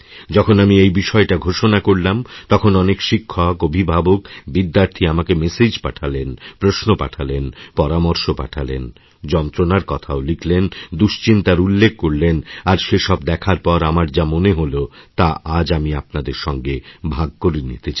যখন আমি এই বিষয়টা ঘোষণা করলাম তখন অনেক শিক্ষকঅভিভাবক বিদ্যার্থী আমাকে মেসেজ পাঠালেন প্রশ্ন পাঠালেন পরামর্শ পাঠালেনযন্ত্রণার কথাও লিখলেন দুশ্চিন্তার উল্লেখ করলেন আর সেসব দেখার পর আমার যা মনে হলতা আজ আমি আপনাদের সঙ্গে ভাগ করে নিতে চাই